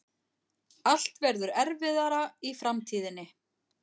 Allt verður erfiðara í framtíðinni.